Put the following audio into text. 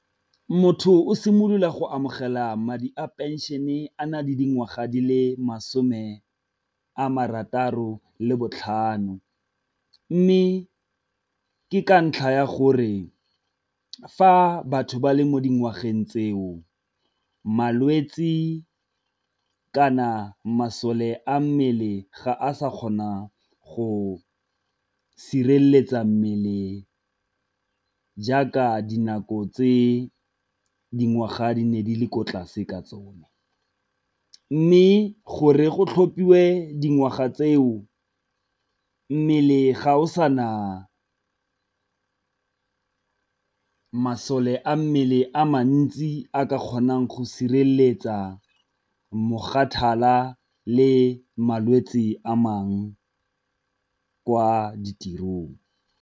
Motho o simolola go amogela madi a pension-e a na le dingwaga di le masome a marataro le botlhano, mme ke ka ntlha ya gore fa batho ba le mo dingwageng tseo malwetsi kana masole a mmele ga a sa kgona go sireletsa mmele jaaka dinako tse dingwaga di ne di le ko tlase ka tsone. Mme gore go tlhopiwe dingwaga tseo mmele ga o sa na masole a mmele a mantsi a ka kgonang go sireletsa le malwetsi a mangwe kwa ditirong.